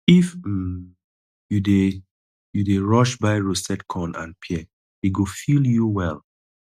if um you dey you dey rush buy roasted corn and pear e go fill you well